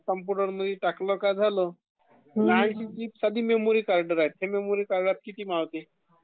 मग, कम्प्युटरमध्ये टाकलं का झालं...नाही तर मेमरी कार्ड राहाते...मेमरी कार्डात किती मावते...